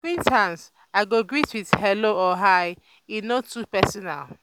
acquaintances i go greet with "hello" or "hi" e no too personal.